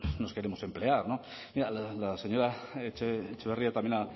nos queremos emplear mira la señora etxebarria también